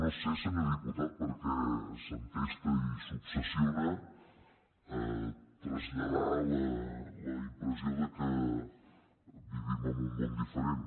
no sé senyor diputat per què s’entesta i s’obsessiona a traslladar la impressió que vivim en un món diferent